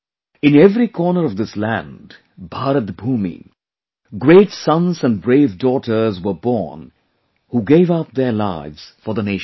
In every corner of this land, Bharatbhoomi, great sons and brave daughters were born who gave up their lives for the nation